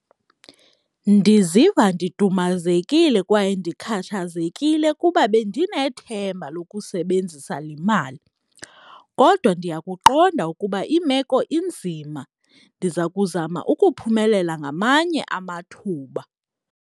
Ndiziva ndidumazekile kwaye ndikhathazekile kuba bendinethemba lokusebenzisa le mali, kodwa ndiyakuqonda ukuba imeko inzima ndiza kuzama ukuphumelela ngamanye amathuba.